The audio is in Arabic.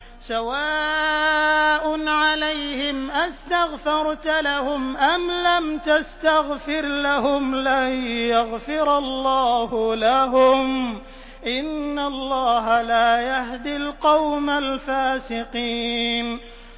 سَوَاءٌ عَلَيْهِمْ أَسْتَغْفَرْتَ لَهُمْ أَمْ لَمْ تَسْتَغْفِرْ لَهُمْ لَن يَغْفِرَ اللَّهُ لَهُمْ ۚ إِنَّ اللَّهَ لَا يَهْدِي الْقَوْمَ الْفَاسِقِينَ